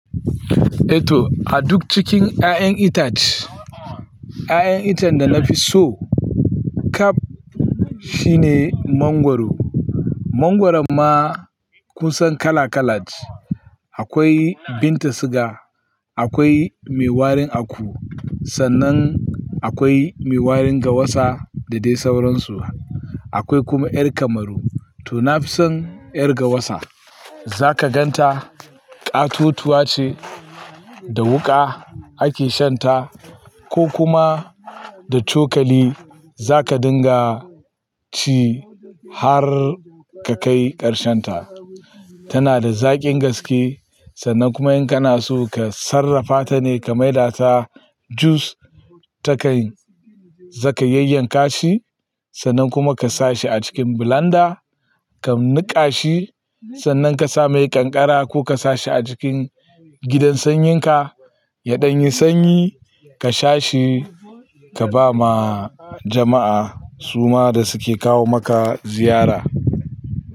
Eto a duk cikin 'ya'yan itace, 'ya'yan itace da na fi so kab shine mangwaro. Mangwaron ma kusan kala-kalat. Akwai Binta siga, akwai mai warin aku, sannan akwai mai warin gawasa da dai sauransu. Akwai kuma ƴar kamaru. To na fi son ƴar gawasa. Za ka gan ta, ƙatotuwa ce da wuƙa ake shan ta ko kuma da cokali za ka dinga ci har ka kai ƙarshen ta. Tana da zaƙin gaske sannan kuma in kana so ka sarrafa ta ne ka mai da ta jus, takan-- zaka yayyanka shi sannan kuma ka sa shi a cikin blanda, ka niƙa shi, sannan ka sa mai ƙanƙara ko ka sa shi a cikin gidan sanyinka. Ya ɗan yi sanyi ka sha shi, ka ba ma jama'a suma da suke kawo maka ziyara.